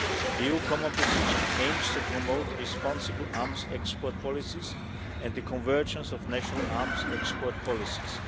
The EU Common Position aims to promote responsible arms export policies and the convergence of national arms export policies.